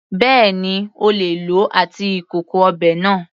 Bẹ́ẹ̀ni, O lè lòó àti ìkòkò ọbẹ̀ náà.